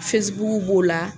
b'o la